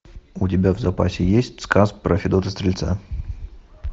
у тебя в запасе есть сказ про федота стрельца